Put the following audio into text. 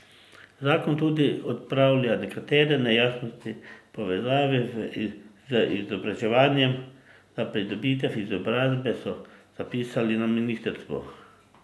Zakon tudi odpravlja nekatere nejasnosti v povezavi z izobraževanjem za pridobitev izobrazbe, so zapisali na ministrstvu.